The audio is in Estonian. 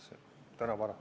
Aitäh!